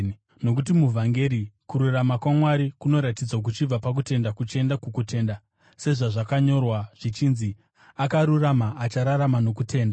Nokuti muvhangeri, kururama kwaMwari kunoratidzwa kuchibva pakutenda kuchienda kukutenda, sezvazvakanyorwa zvichinzi: “Akarurama achararama nokutenda.”